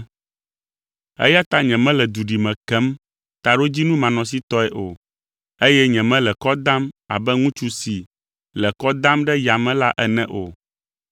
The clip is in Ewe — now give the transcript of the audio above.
Eya ta nyemele duɖime kem taɖodzinu manɔsitɔe o, eye nyemele kɔ dam abe ŋutsu si le kɔ dam ɖe yame la ene o,